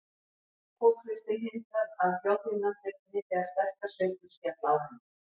Kokhlustin hindrar að hljóðhimnan rifni þegar sterkar sveiflur skella á henni.